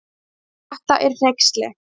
Þetta er hneyksli